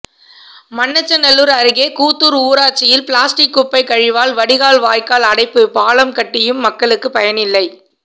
மண்ணச்சநல்லூர் அருகே கூத்தூர் ஊராட்சியில் பிளாஸ்டிக் குப்பை கழிவால் வடிகால் வாய்க்கால் அடைப்பு பாலம் கட்டியும் மக்களுக்கு பயனில்லை